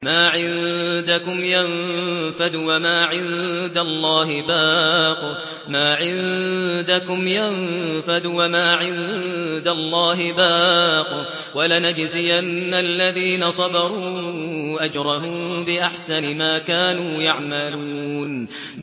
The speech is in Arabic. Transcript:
مَا عِندَكُمْ يَنفَدُ ۖ وَمَا عِندَ اللَّهِ بَاقٍ ۗ وَلَنَجْزِيَنَّ الَّذِينَ صَبَرُوا أَجْرَهُم بِأَحْسَنِ مَا كَانُوا يَعْمَلُونَ